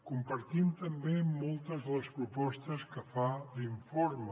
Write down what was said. compartim també moltes de les propostes que fa l’informe